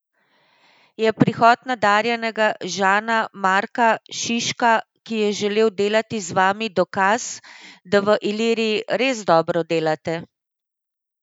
Je prihod nadarjenega Žana Marka Šiška, ki je želel delati z vami, dokaz, da v Iliriji res dobro delate?